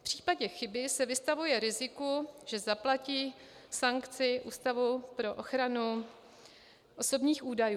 V případě chyby se vystavuje riziku, že zaplatí sankci Úřadu pro ochranu osobních údajů.